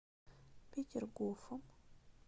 петергофом